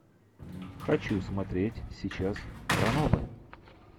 хочу смотреть сейчас ранобэ